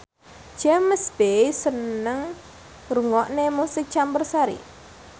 James Bay seneng ngrungokne musik campursari